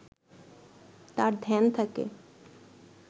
তার ধ্যান থাকে